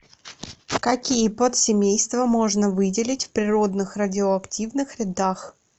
какие подсемейства можно выделить в природных радиоактивных рядах